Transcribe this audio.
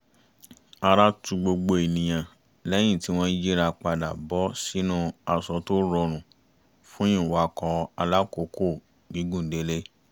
ara tu gbogbo ènìyàn lẹ́yìn tí wọ́n yíra padà bọ́ sínú aṣọ tó rọrùn fún ìwakọ̀ alákòókò gígùn délé